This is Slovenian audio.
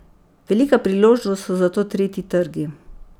Velika priložnost so zato tretji trgi.